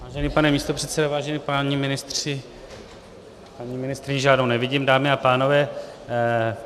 Vážený pane místopředsedo, vážení páni ministři, paní ministryni žádnou nevidím, dámy a pánové.